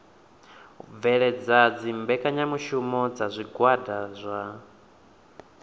bveledza mbekanyamushumo dza zwigwada zwa